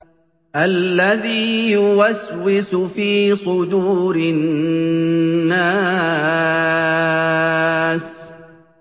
الَّذِي يُوَسْوِسُ فِي صُدُورِ النَّاسِ